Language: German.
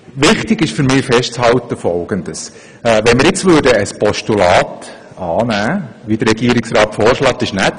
Wichtig ist für mich, Folgendes festzuhalten: Wenn wir ein Postulat annehmen würden, wie es der Regierungsrat vorschlägt, wäre das nett;